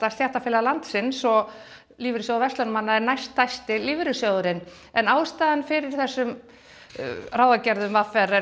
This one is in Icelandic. stéttarfélag landsins og Lífeyrissjóður verslunarmanna næststærsti lífeyrissjóðurinn ástæða fyrir þessum ráðagerðum v r er